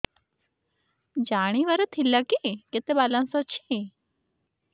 ଜାଣିବାର ଥିଲା କି କେତେ ବାଲାନ୍ସ ଅଛି